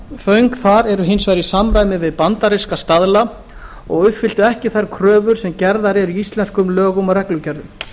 rafföng þar eru voru hins vegar í samræmi við bandaríska staðla og uppfylltu ekki þær kröfur sem gerðar eru í íslenskum lögum og reglugerðum